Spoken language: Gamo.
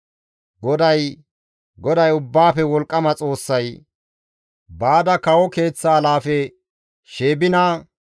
GODAY, GODAY Ubbaafe Wolqqama Xoossay, «Baada kawo keeththa alaafe Sheebina,